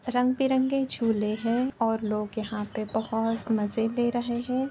रंग बिरंगे झूले हैं और लोग यहाँ पे बोहत मजे ले रहे हैं।